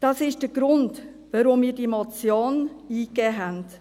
Das ist der Grund, weshalb wir diese Motion eingegeben haben.